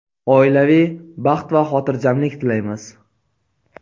oilaviy baxt va xotirjamlik tilaymiz.